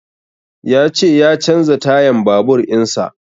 Ya ce ya canza tayan babur in sa